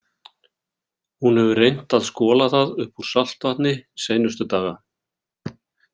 Hún hefur reynt að skola það upp úr saltvatni seinustu daga.